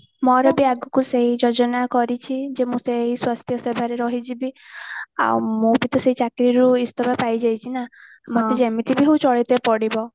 ମୋର ବି ଆଗକୁ ସେଇ ଯୋଜନା କରିଚି ଯେ ମୁଁ ସେଇ ସ୍ୱାସ୍ଥ୍ୟ ସେବାରେ ରହିଯିବି ଆଉ ମୁଁ ବି ତ ସେଇ ଚାକିରୀରୁ ଇସ୍ତଫା ପାଇ ଯାଇଚି ନାଁ ମତେ ଯେମିତି ବି ହଉ ପଡିବ